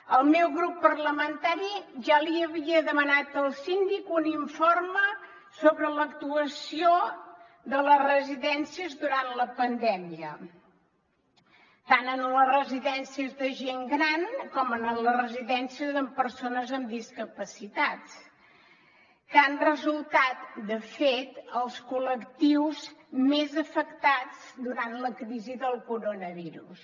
el meu grup parlamentari ja li havia demanat al síndic un informe sobre l’actuació de les residències durant la pandèmia tant en les residències de gent gran com en les residències de persones amb discapacitat que han resultat de fet els col·lectius més afectats durant la crisi del coronavirus